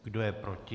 Kdo je proti?